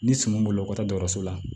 Ni suman bolo ka taa dɔgɔtɔrɔso la